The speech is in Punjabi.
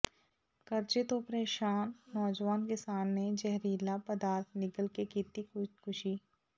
ਕਰਜ਼ੇ ਤੋਂ ਪਰੇਸ਼ਾਨ ਨੌਜਵਾਨ ਕਿਸਾਨ ਨੇ ਜ਼ਹਿਰੀਲਾ ਪਦਾਰਥ ਨਿਗਲ ਕੇ ਕੀਤੀ ਖੁਦਕੁਸ਼ੀ